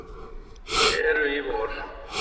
eru í vor.